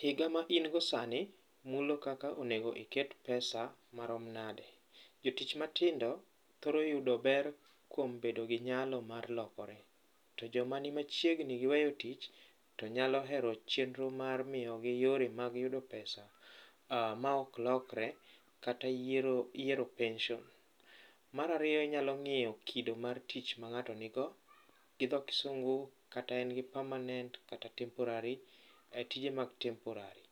Higa ma in go sani mulo kaka onego iket pesa marom nade. Jotich matindo thoro yudo ber kuom bedo gi nyalo mar lokore. To joma ni machiegni ni weyo tich to nyalo hero chenro mar miyo gi yore mag yudo pesa ma ok lokre kata yiero pension. Mar ariyo inyalo ng'iyo kido mar tich ma ng'ato nigo, gi dho kisungu kata en gi permanent kata temporary, tije mag temporary,